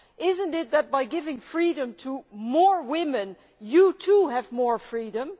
Is it not by giving freedom to more women that you too have more freedom?